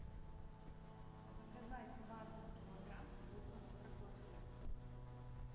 заказать двадцать килограмм крупного картофеля